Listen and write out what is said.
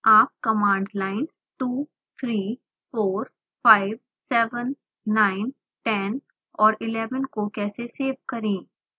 आप command lines 2 3 4 5 7 9 10 और 11 को कैसे सेव करेंगे